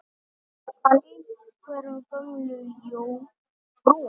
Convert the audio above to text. Kann einhver Gömlu jómfrú?